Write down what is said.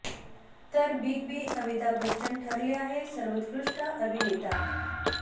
तर big B Amitabh Bachchan ठरले आहेत सर्वोत्कृष्ट अभिनेता